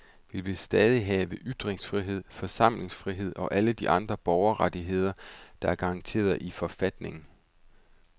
Vi vil stadig have ytringsfrihed, forsamlingsfrihed og alle de andre borgerrettigheder, der er garanteret i forfatningen.